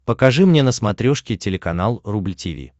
покажи мне на смотрешке телеканал рубль ти ви